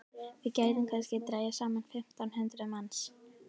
Við gætum kannski dregið saman fimmtán hundruð manns.